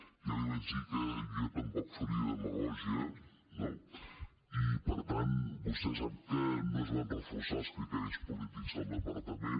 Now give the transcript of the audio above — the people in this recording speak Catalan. ja li vaig dir que jo tampoc faria demagògia no i per tant vostè sap que no es van reforçar els criteris polítics del departament